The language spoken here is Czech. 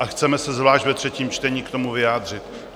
A chceme se zvlášť ve třetím čtení k tomu vyjádřit.